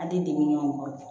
Ali dimi kɔrɔ